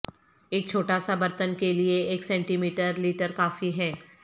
ایک چھوٹا سا برتن کے لئے ایک سینٹی میٹر لیٹر کافی ہے